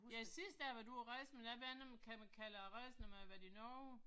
Ja sidst da jeg har været ude og rejse men det ved jeg ikke om kan man kalde det at rejse når man har været i Norge?